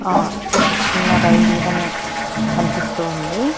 ఆ ఒక చిన్న రైలు గని కనిపిస్తూ ఉంది.